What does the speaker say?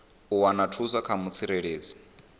u wana thuso kha mutsireledzi